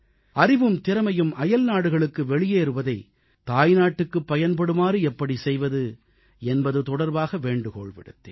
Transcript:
அறிவும் திறமையும் அயல்நாடுகளுக்கு வெளியேறுவதை தாய்நாட்டுக்குப் பயன்படுமாறு எப்படிச் செய்வது என்பது தொடர்பாக வேண்டுகோள் விடுத்தேன்